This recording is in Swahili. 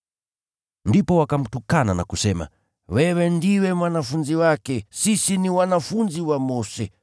Ndipo wakamtukana na kusema, “Wewe ndiwe mwanafunzi wake, Sisi ni wanafunzi wa Mose.